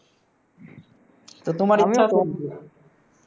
তো তোমার